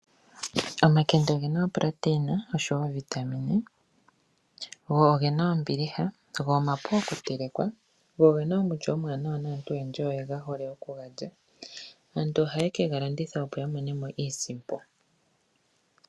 Omakende ogena iitungithilutu oshowo oovitamine, go ogena ombiliha go omapu okuteleka. Go ogena omulyo omuwanawa naantu oyendji oye hole oku ga lya. Aantu ohaye kega landitha opo ya mone mo iisimpo.